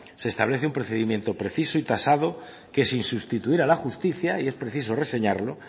se establece un procedimiento preciso y tasado que sin sustituir a la justicia y es preciso reseñarlo